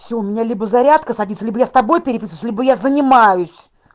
всё у меня либо зарядка садится ли я с тобой переписываюсь бы я занимаюсь